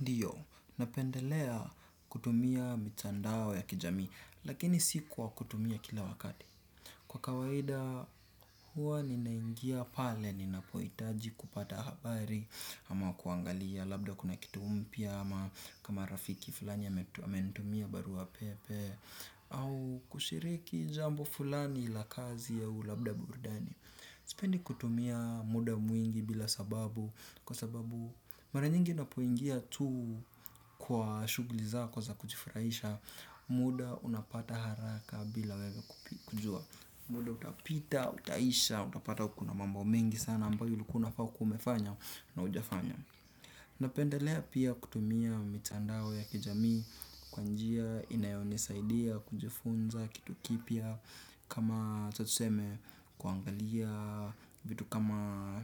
Ndiyo, napendelea kutumia mitandao ya kijami, lakini si kwa kutumia kila wakati. Kwa kawaida, huwa ninaingia pale, ninapohitaji kupata habari, ama kuangalia, labda kuna kitu mpya, ama kama rafiki fulani amenitumia barua pepe, au kushiriki jambo fulani la kazi au labda burudani. Sipendi kutumia muda mwingi bila sababu, kwa sababu mara nyingi napoingia tu kwa shughuli zako za kujifurahisha, muda unapata haraka bila wewe kujua. Muda utapita, utaisha, utapata kuna mambo mengi sana ambayo ulikuwa unafa kuwa umefanya na hujafanya. Napendelea pia kutumia mitandao ya kijami kwa njia inayonisaidoa kujifunza kitu kipya kama hata tuseme kuangalia vitu kama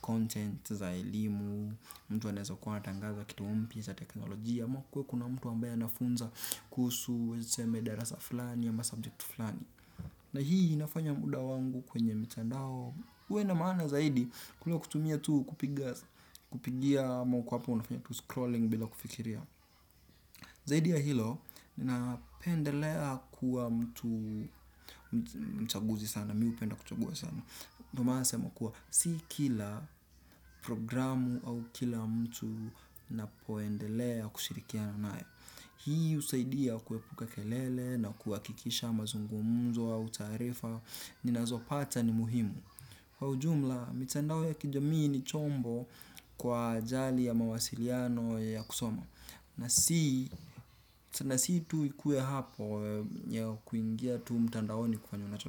content za elimu mtu anaweza kuwa anatangaza kitu mpya cha teknolojia ama kuwe kuna mtu ambaye anafunza kuhusu tuseme darasa fulani ama subject fulani. Na hii inafanya muda wangu kwenye mtandao. Uwe na maana zaidi kuliko kutumia tu kupigia ama uku hapo unafanya tu scrolling bila kufikiria. Zaidi ya hilo, ninapendelea kuwa mtu mchaguzi sana, mi hupenda kuchagua sana. Ndo maana nasema kuwa, si kila programu au kila mtu napoendelea kushirikiana naye. Hii husaidia kuepuka kelele na kuhakikisha mazungumuzo au tarifa ninazopata ni muhimu. Kwa ujumla, mtandao ya kijamii ni chombo kwa ajali ya mawasiliano ya kusoma. Na si tu ikue hapo ya kuingia tu mtandaoni kufanya na chombo.